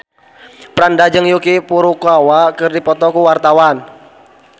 Franda jeung Yuki Furukawa keur dipoto ku wartawan